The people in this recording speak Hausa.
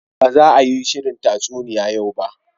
Ba za a yi shirin tatsuniya yau ba